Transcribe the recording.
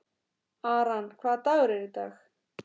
Aran, hvaða dagur er í dag?